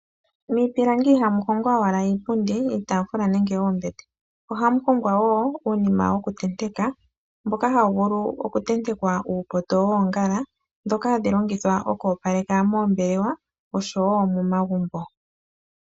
Miipilangi ihamu hongwa owala iipundi, iitaafula nenge oombete ohamu hongwa wo uunima wokutenteka . Ohawu vulu okutentekwa iinima yoongala, mbyoka hayi longithwa okoopaleka moombelewa oshowoo momagumbo.